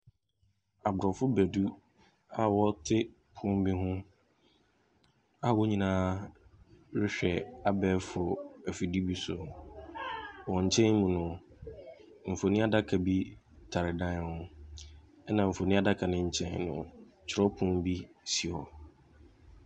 Agorɔfobadu a wɔte pono bi ho a wɔn nyinaa rehwɛ abaafo afidie bi so. Wɔn nkyɛn mu no, mfonin adaka bi tare dan no ho, ɛnna mfinin adaka no nkyɛn no, twerɛpono bi si hɔ.